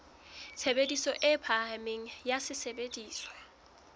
tshebediso e phahameng ya sesebediswa